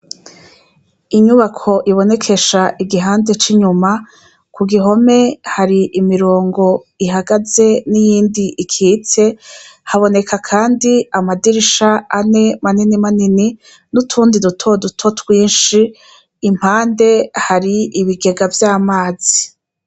Inyubako ibonekesha igihande c’inyuma, kugihome hari imirongo ihagaze niyindi ikitse , haboneka kandi amadirisha ane , manini manini n’utundi duto duto twinshi impande hari ibigega vy’amazi.